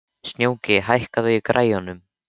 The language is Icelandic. Snjóki, hækkaðu í græjunum.